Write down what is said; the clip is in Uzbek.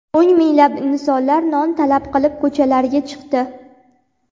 O‘n minglab insonlar non talab qilib ko‘chalarga chiqdi.